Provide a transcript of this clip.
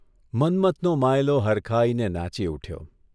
મન્મથનો માંયલો હરખાઇને નાચી ઊઠ્યો.